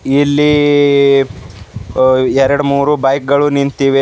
ಇಲ್ಲಿ ಅ ಎರಡ್ಮೂರು ಬೈಕ್ ನಿಂತಿವೆ.